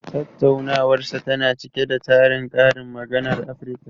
Tattaunawarsa tana cike da tarin karin maganar Afirka.